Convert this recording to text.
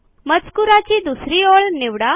मजकूराची दुसरी ओळ निवडा